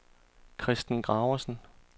Christen Graversen